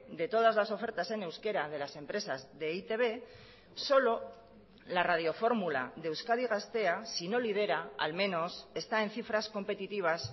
de todas las ofertas en euskera de las empresas de e i te be solo la radio fórmula de euskadi gaztea si no lidera al menos está en cifras competitivas